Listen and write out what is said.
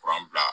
Kuran bila